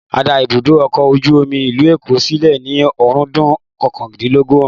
A dá ibùdó ọkọ̀ ojú omi ìlú Èkó sílẹ̀ ní ọ̀rúndún kọkàndínlógún